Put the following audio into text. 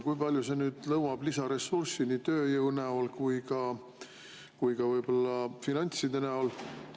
Kui palju see nõuab lisaressurssi nii tööjõu kui ka võib-olla finantside näol?